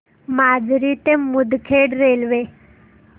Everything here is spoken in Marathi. माजरी ते मुदखेड रेल्वे